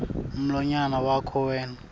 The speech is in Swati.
mlonyana wakho wena